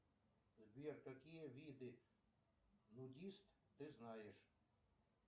сбер какие виды нудист ты знаешь